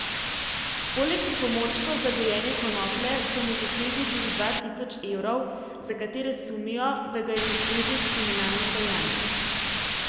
Poleg pripomočkov za gojenje konoplje so mu zasegli tudi dva tisoč evrov, za katere sumijo, da ga je zaslužil s kriminalnim dejanjem.